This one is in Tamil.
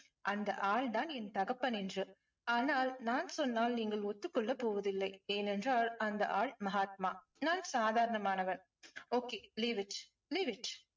அந்த ஆள் தான் என் தகப்பன் என்று. ஆனால் நான் சொன்னால் நீங்கள் ஒத்துக் கொள்ளப் போவதில்லை. ஏனென்றால் அந்த ஆள் மகாத்மா நான் சாதாரணமானவன். okay leave it leave it.